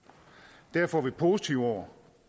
derfor er vi positive over